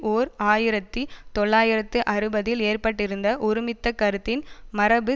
ஓர் ஆயிரத்தி தொள்ளாயிரத்து அறுபதில் ஏற்பட்டிருந்த ஒருமித்த கருத்தின் மரபு